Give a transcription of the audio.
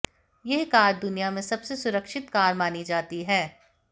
यह कार दुनिया में सबसे सुरक्षित कार मानी जाती है